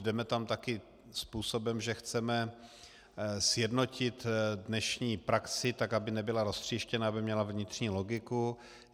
Jdeme tam také způsobem, že chceme sjednotit dnešní praxi, tak aby nebyla roztříštěna, aby měla vnitřní logiku.